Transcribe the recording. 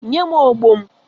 Nye m ogbo m!